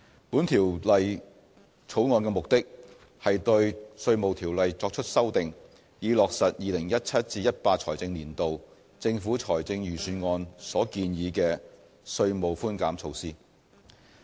本《條例草案》的目的，是對《稅務條例》作出修訂，以落實 2017-2018 財政年度政府財政預算案所建議的稅務寬減措施。